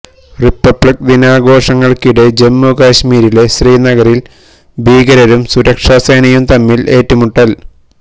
republic ദിനാഘോഷങ്ങൾക്കിടെ ജമ്മു കാശ്മീരിലെ ശ്രീനഗറിൽ ഭീകരരും സുരക്ഷാ സേനയും തമ്മിൽ ഏറ്റുമുട്ടൽ